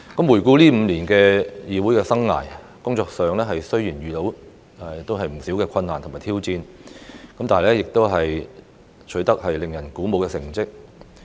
回顧這5年的議會生涯，工作上雖然遇到不少困難與挑戰，但亦取得令人鼓舞的成績。